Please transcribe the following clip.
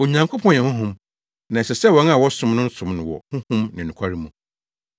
Onyankopɔn yɛ Honhom, na ɛsɛ sɛ wɔn a wɔsom no no som no wɔ Honhom ne nokware mu.